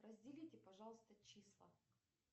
разделите пожалуйста числа